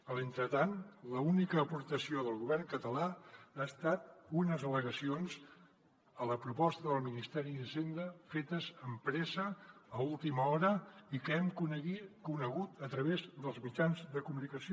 en l’entretant l’única aportació del govern català han estat unes al·legacions a la proposta del ministeri d’hisenda fetes amb pressa a última hora i que hem conegut a través dels mitjans de comunicació